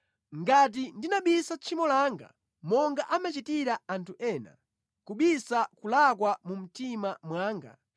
ngati ndinabisa tchimo langa monga amachitira anthu ena, kubisa kulakwa mu mtima mwanga